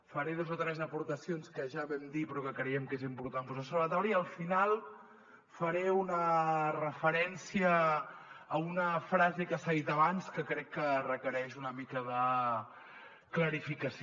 faré dos o tres aportacions que ja vam dir però que creiem que és important posar les sobre la taula i al final faré una referència a una frase que s’ha dit abans que crec que requereix una mica de clarificació